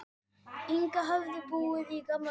Inga höfðu búið í gamla daga.